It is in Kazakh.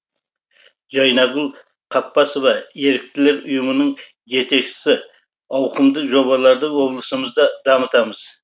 жайнагүл қаппасова еріктілер ұйымының жетекшісі ауқымды жобаларды облысымызда дамытамыз